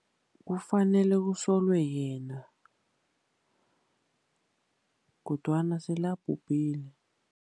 Kufanele kusolwe yena, kodwana sele abhubhile.